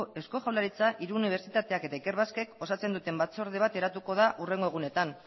eusko jaurlaritza hiru unibertsitateak eta ikerbasquek osatzen duten batzorde bat eratuko da hurrengo egunetan